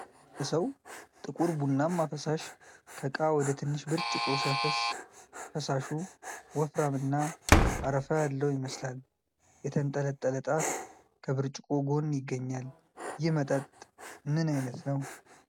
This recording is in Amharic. የሆነ ሰው ጥቁር ቡናማ ፈሳሽ ከእቃ ወደ ትንሽ ብርጭቆ ሲያፈስስ ። ፈሳሹ ወፍራምና አረፋ ያለው ይመስላል ። የተንጠለጠለ ጣት ከብርጭቆው ጎን ይገኛል ። ይህ መጠጥ ምን አይነት ነው?